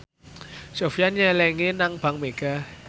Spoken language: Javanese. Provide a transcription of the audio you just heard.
Sofyan nyelengi nang bank mega